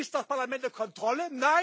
Ist das Parlament eine Kontrolle?